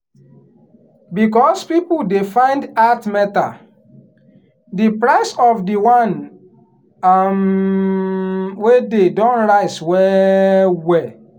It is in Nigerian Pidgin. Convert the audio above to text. because people dey find earth metal the price of the one um wey dey don rise well well.